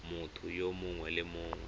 motho yo mongwe le yo